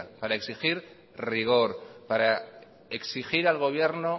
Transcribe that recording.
para exigir rigor para exigir al gobierno